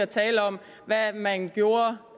taler om hvad man gjorde